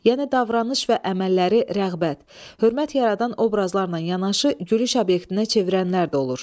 Yəni davranış və əməlləri rəğbət, hörmət yaradan obrazlarla yanaşı, gülüş obyektinə çevirənlər də olur.